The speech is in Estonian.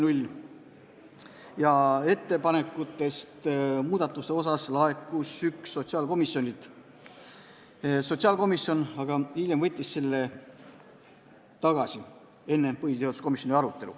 Laekus üks muudatusettepanek sotsiaalkomisjonilt, sotsiaalkomisjon aga võttis hiljem selle tagasi, enne arutelu põhiseaduskomisjonis.